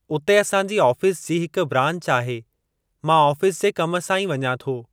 उते असांजी आफ़ीस जी हिकु ब्रांच आहे, मां ऑफिस जे कम सां ई वञां थो।